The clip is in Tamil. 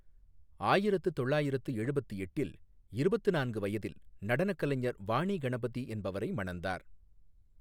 ஆயிரத்து தொள்ளயிரத்து எழுபத்து எட்டில் இருபத்து நான்கு வயதில் நடனக் கலைஞர் வாணி கணபதி என்பவரை மணந்தார்.